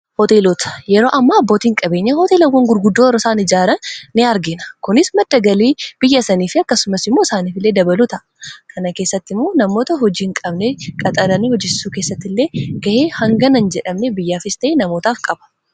Hooteelota yeroo ammaa abbootiin qabeenya hoteelawwan gurguddooraisaan ijaara in argina kunis maddagalii biyyasanii fi akkasumas immoo isaaniif illee dabaluta tana keessatti immoo namoota hojiihin qabne qaxaranii hojissu keessatti illee ga'ee hanganan jedhamne biyyaa namootaaf qaba.